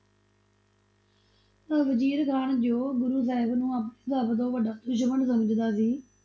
ਤਾਂ ਵਜੀਰ ਖਾਨ ਜੋ ਗੁਰੂ ਸਾਹਿਬ ਨੂੰ ਆਪਣਾ ਸਭ ਤੋ ਵਡਾ ਦੁਸ਼ਮਨ ਸਮਝਦਾ ਸੀ,